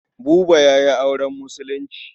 Buba ya yi auren Musulunci.